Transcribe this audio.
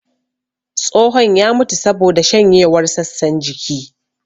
Tsohon ya mutu saboda shanyewar sassan jiki